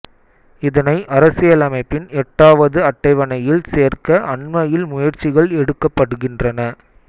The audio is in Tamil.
இதனை அரசியலமைப்பின் எட்டாவது அட்டவணையில் சேர்க்க அண்மையில் முயற்சிகள் எடுக்கப்படுகின்றன